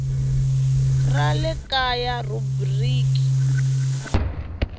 ra le kaya rhubiriki yo